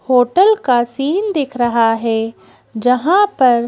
hotel का scene दिख रहा है जहां पर--